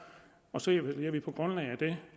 og så evaluerer vi på grundlag af det